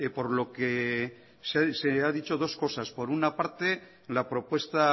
por lo que se ha dicho dos cosas por una parte la propuesta